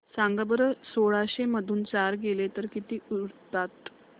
सांगा बरं सोळाशे मधून चार गेले तर किती उरतात